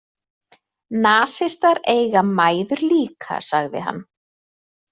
Nasistar eiga mæður líka, sagði hann.